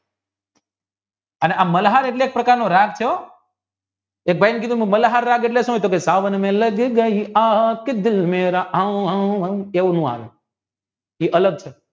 અને આ મલ્હાર એટલે એક પ્રકારનો રાગ છે હો મલ્હાર રાગ એટલે સુ સાવન મેં લગ ગયી આગ કે દિલ મેરા આવ એવું નો આવે એ અલગ છે